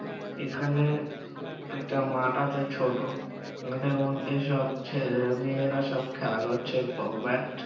এখানে একটা মাঠ আছে ছোটো এদের মধ্যে সব ছেলে মেয়েরা সব খেলা করছে ব- ব্যাট ।